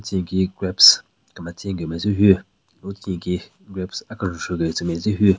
Tsü nyeki grapes kemetsen gu metse hyu lo tsü nyeki grapes akenjvu gu tsu metse hyu.